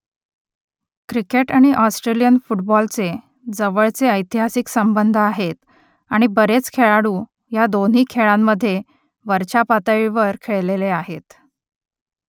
cricket आणि Australian फुटबॉलचे जवळचे ऐतिहासिक संबंध आहेत आणि बरेच खेळाडू या दोन्ही खेळांमधे वरच्या पातळीवर खेळलेले आहेत